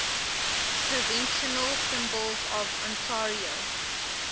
provincial symbols of ontario